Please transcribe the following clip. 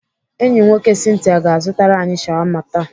Enyi nwoke Cynthia ga-azụtara anyị shawama taa.